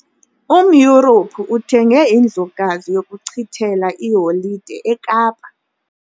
UmYurophu uthenge indlukazi yokuchithela iiholide eKapa.